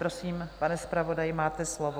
Prosím, pane zpravodaji, máte slovo.